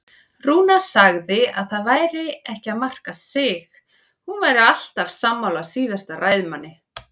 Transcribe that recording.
Rúna sagði að það væri ekki að marka sig, hún væri alltaf sammála síðasta ræðumanni.